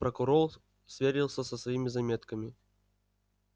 прокурор сверился со своими заметками